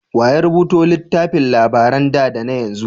Wa ya rubuta littafin labaran da da na yanzu?